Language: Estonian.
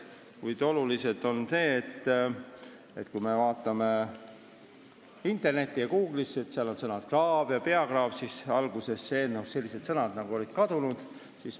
Olulised muudatused puudutavad seda, et kui me vaatame internetis Google'isse, siis seal on sõnad "kraav" ja "peakraav", aga alguses olid selles eelnõus sellised sõnad kadunud.